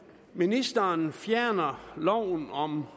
ministeren fjerner loven om